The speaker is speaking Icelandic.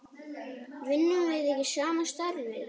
Vinnum við ekki sama starfið?